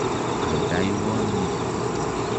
Aldaiwon nitok.